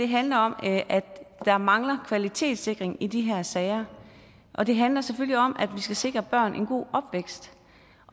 handler om at der mangler kvalitetssikring i de her sager og det handler selvfølgelig om at vi skal sikre børn en god opvækst